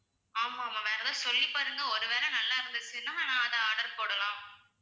ஆமாம் ma'am வேற எதாவது சொல்லி பாருங்க ஒருவேளை நல்லா இருந்துச்சுன்னா நான் அத order போடலாம்